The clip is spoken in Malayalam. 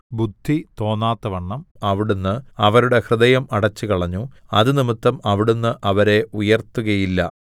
ബുദ്ധി തോന്നാത്തവണ്ണം അവിടുന്ന് അവരുടെ ഹൃദയം അടച്ചുകളഞ്ഞു അതുനിമിത്തം അവിടുന്ന് അവരെ ഉയർത്തുകയില്ല